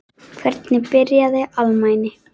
Hvernig byrjaði alnæmi?